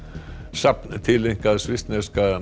safn tileinkað svissneska